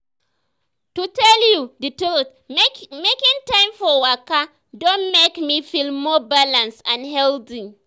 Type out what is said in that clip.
to tell you the truth making time for waka don make me feel more balanced and healthy.